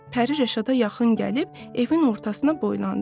Pəri Rəşada yaxın gəlib evin ortasına boylandı.